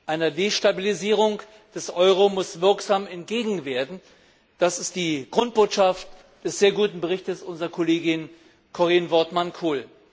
Einer Destabilisierung des Euro muss wirksam entgegnet werden. Das ist die Grundbotschaft des sehr guten Berichts unserer Kollegin Corien Wortmann Kool.